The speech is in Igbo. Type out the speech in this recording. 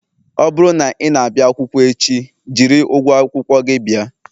Ọ bụrụ na ị na-abịa akwụkwọ echi, jiri ụgwọ akwụkwọ gị bịa